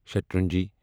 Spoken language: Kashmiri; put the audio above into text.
شیٹرنجی